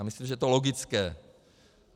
Já myslím, že je to logické.